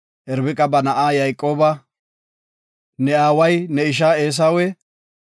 Irbiqa ba na7a Yayqooba, “Ne aaway ne isha Eesawe,